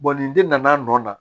ni den nana